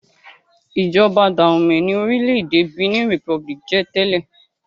Ìjọba Dahomey ni orílẹ̀-èdè Benin Republic ń jẹ tẹ́lẹ̀.